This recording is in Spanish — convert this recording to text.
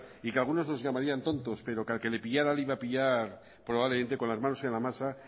y que algunos nos llamarían tontos pero que al que le pillara le iba a pillar probablemente con las manos en la masa